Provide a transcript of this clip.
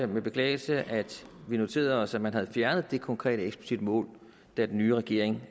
med beklagelse at vi noterede os at man fjernede det konkrete eksplicitte mål da den nye regering